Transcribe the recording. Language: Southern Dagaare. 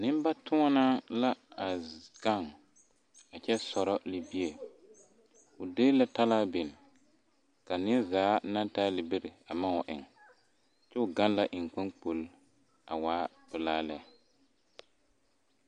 Nembatoɔnaa la a gaŋ a kyɛ sɔrɔ libie o de la talaa biŋ ka neɛ zaa naŋ taa libiri a maŋ wa eŋ kyɛ o gaŋ la eŋkpankpol a waa pelaa lɛ.